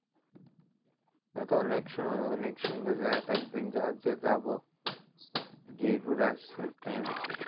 তাহলে তো অনেক অনেক সুন্দর জায়গাটা একদিন যাবো গিয়ে ঘুরে আসতে